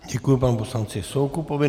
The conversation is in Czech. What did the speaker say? Děkuji panu poslanci Soukupovi.